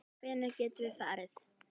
Hvenær getum við farið?